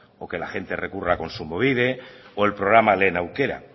o que la gente recurra a kontsumobide o el programa lehen aukera